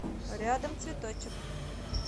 рядом цветочек